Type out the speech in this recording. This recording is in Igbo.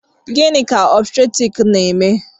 Gịnị ka òbstètrịk na-eme